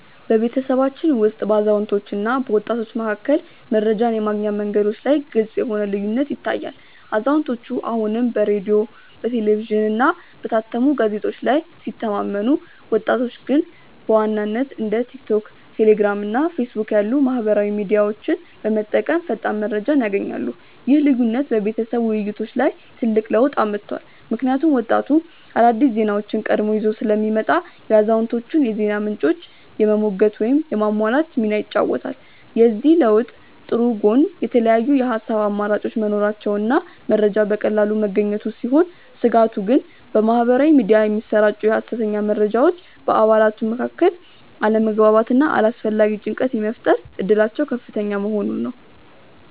በቤተሰባችን ውስጥ በአዛውንቶችና በወጣቶች መካከል መረጃን የማግኛ መንገዶች ላይ ግልጽ የሆነ ልዩነት ይታያል፤ አዛውንቶቹ አሁንም በሬዲዮ፣ በቴሌቪዥንና በታተሙ ጋዜጦች ላይ ሲተማመኑ፣ ወጣቶቹ ግን በዋናነት እንደ ቲክቶክ፣ ቴሌግራም እና ፌስቡክ ያሉ ማኅበራዊ ሚዲያዎችን በመጠቀም ፈጣን መረጃ ያገኛሉ። ይህ ልዩነት በቤተሰብ ውይይቶች ላይ ትልቅ ለውጥ አምጥቷል፤ ምክንያቱም ወጣቱ አዳዲስ ዜናዎችን ቀድሞ ይዞ ስለሚመጣ የአዛውንቶቹን የዜና ምንጮች የመሞገት ወይም የማሟላት ሚና ይጫወታል። የዚህ ለውጥ ጥሩ ጎን የተለያዩ የሐሳብ አማራጮች መኖራቸውና መረጃ በቀላሉ መገኘቱ ሲሆን፣ ስጋቱ ግን በማኅበራዊ ሚዲያ የሚሰራጩ የሐሰተኛ መረጃዎች በአባላቱ መካከል አለመግባባትና አላስፈላጊ ጭንቀት የመፍጠር እድላቸው ከፍተኛ መሆኑ ነው።